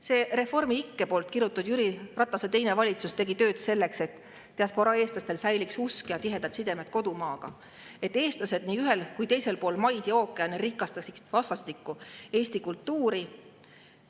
See Reformi-ikke kirutud Jüri Ratase teine valitsus tegi tööd selleks, et diasporaa eestlastel säiliks usk ja tihedad sidemed kodumaaga, et eestlased nii ühel kui ka teisel pool maid ja ookeane rikastaksid vastastikku eesti kultuuri.